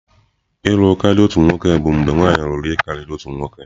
Ịlū karia otu nwoke bụ mgbe nwanyị lụrụ ihe karịrị otu nwoke.